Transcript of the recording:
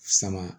Sama